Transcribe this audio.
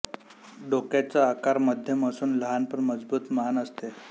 डोक्याचा आकार मध्यम असून लहान पण मजबूत मान असते